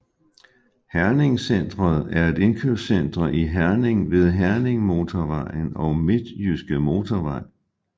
herningCentret er et indkøbscenter i Herning ved Herningmotorvejen og Midtjyske Motorvej